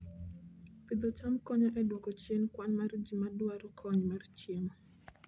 Pidho cham konyo e dwoko chien kwan mar ji madwaro kony mar chiemo